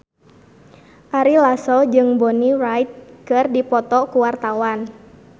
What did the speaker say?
Ari Lasso jeung Bonnie Wright keur dipoto ku wartawan